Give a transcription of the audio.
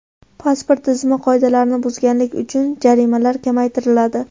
Pasport tizimi qoidalarini buzganlik uchun jarimalar kamaytiriladi.